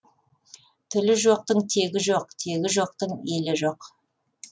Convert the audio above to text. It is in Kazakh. тілі жоқтың тегі жоқ тегі жоқтың елі жоқ